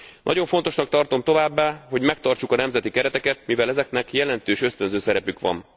Nagyon fontosnak tartom továbbá, hogy megtartsuk a nemzeti kereteket, mivel ezeknek jelentős ösztönző szerepük van.